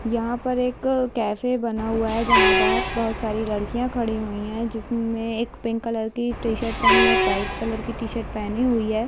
यहाँ पर एक अ कैफ़े बना हुआ है जहाँ बहार बहुत साड़ी लड़कियां खड़ी हुई हैं जिसमे एक पिंक कलर की टी-शर्ट पहनी एक व्हाइट कलर टी-शर्ट पहनी हुई है।